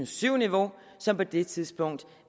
syv niveauet som på det tidspunkt